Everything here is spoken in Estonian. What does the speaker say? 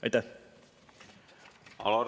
Aitäh!